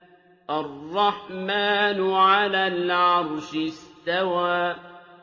الرَّحْمَٰنُ عَلَى الْعَرْشِ اسْتَوَىٰ